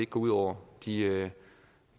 går ud over de